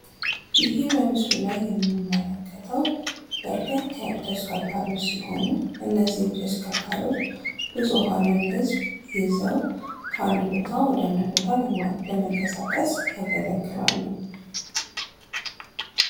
ይህ በምስሉ ላይ የመመለከተው በርከት ያሉ ተሽከርካሪዎች ሲሆኑ እነዚህም ተሽከርካሪዎች ብዙኃን ህዝብ ይዘው ከአንድ ቦታ ወደ አንድ ቦታ ለመንቀሳቀስ ያገለግላሉ